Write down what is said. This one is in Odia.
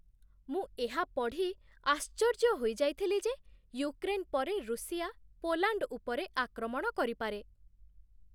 ମୁଁ ଏହା ପଢ଼ି ଆଶ୍ଚର୍ଯ୍ୟ ହୋଇଯାଇଥିଲି ଯେ ୟୁକ୍ରେନ୍ ପରେ ରୁଷିଆ ପୋଲାଣ୍ଡ ଉପରେ ଆକ୍ରମଣ କରିପାରେ।